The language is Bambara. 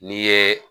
N'i ye